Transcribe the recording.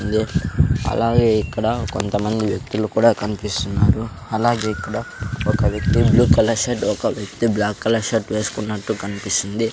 ఉంది అలాగే ఇక్కడ కొంతమంది వ్యక్తులు కూడా కన్పిస్తున్నారు అలాగే ఇక్కడ ఒక వ్యక్తి బ్లూ కలర్ షర్ట్ ఒక వ్యక్తి బ్లాక్ కలర్ షర్ట్ వేస్కున్నట్టు కన్పిస్తుంది.